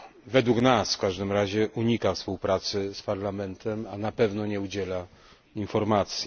Według nas, w każdym razie, unika współpracy z Parlamentem, a na pewno nie udziela informacji.